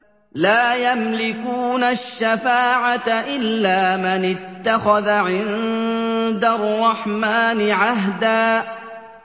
لَّا يَمْلِكُونَ الشَّفَاعَةَ إِلَّا مَنِ اتَّخَذَ عِندَ الرَّحْمَٰنِ عَهْدًا